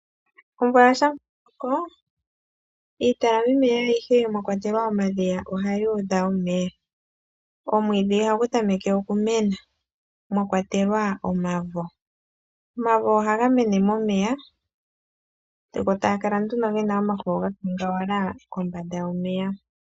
Omvula shampa ya loko, iitalamameya ayihe mwa kwatelwa omadhiya ohayi udha omeya. Omwiidhi nomavo ohayi tameke okumena. Omavo ohaga mene momeya, sigo taga kala nduno nomafo ga kangawala kombanda yomeya.